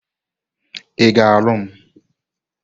Ị ga-alụ m?